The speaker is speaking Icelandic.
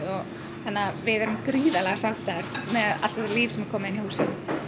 þannig að við erum gríðarlega sáttar með allt þetta líf sem er komið inn í húsið